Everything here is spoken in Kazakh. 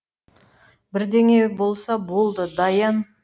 бірдеңе болса болды даян